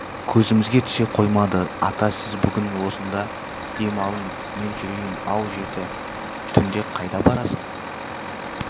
көзімізге түсе қоймады ата сіз бүгін осында дем алыңыз мен жүрейін ау жеті түнде қайда барасың